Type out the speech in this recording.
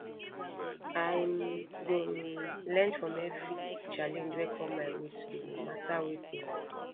i go learn from every challenge wey come my way today no matter wetin